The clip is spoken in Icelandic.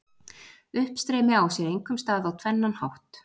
Uppstreymi á sér einkum stað á tvennan hátt: